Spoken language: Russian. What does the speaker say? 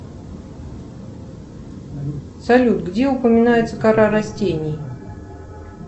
салют где упоминается кора растений